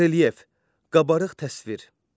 Relyef, qabarıq təsvir.